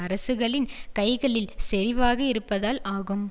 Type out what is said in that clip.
அரசுகளின் கைகளில் செறிவாகயிருப்பதால் ஆகும்